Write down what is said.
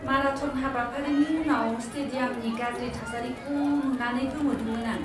Marathon हाबाफारिनि उनाव स्टेडियामनि गाज्रि थासारिखौ नुनानै गोमोदोंमोन आं!